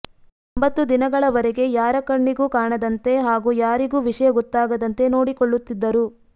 ಒಂಭತ್ತು ದಿನಗಳವರೆಗೆ ಯಾರ ಕಣ್ಣಿಗೂ ಕಾಣದಂತೆ ಹಾಗೂ ಯಾರಿಗೂ ವಿಷಯ ಗೊತ್ತಾಗದಂತೆ ನೋಡಿಕೊಳ್ಳುತ್ತಿದ್ದರು